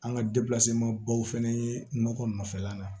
An ka baw fɛnɛ ye nɔgɔ nɔfɛla la